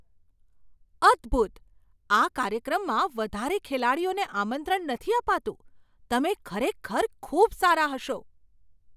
અદ્ભુત! આ કાર્યક્રમમાં વધારે ખેલાડીઓને આમંત્રણ નથી અપાતું. તમે ખરેખર ખૂબ સારા હશો!